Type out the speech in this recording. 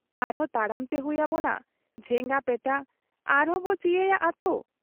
ᱟᱨᱦᱚᱸ ᱛᱟᱲᱟᱢᱛᱮ ᱦᱩᱭ ᱟᱵᱚᱱᱟ ᱡᱷᱮᱸᱜᱟᱯᱮᱴᱟ , ᱟᱨᱦᱚᱸᱵᱚ ᱪᱤᱭᱟᱹᱭᱟ ᱟᱹᱛ ᱾